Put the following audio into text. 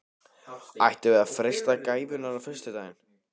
Ættum við að freista gæfunnar á sunnudaginn?